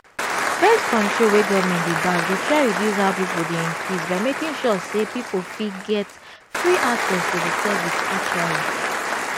birth-control wey government dey back dey try reduce how people dey increase by making sure say people fit get free acess to the service actually.